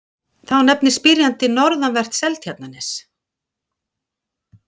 Þá nefnir spyrjandi norðanvert Seltjarnarnes.